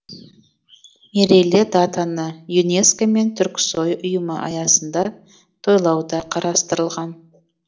мерейлі датаны юнеско мен түрксои ұйымы аясында тойлау да қарастырылған